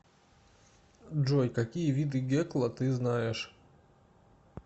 джой какие виды гекла ты знаешь